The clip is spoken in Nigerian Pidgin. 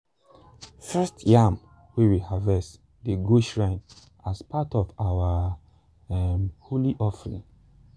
first yam wey we harvest dey go shrine as part of our um holy offering.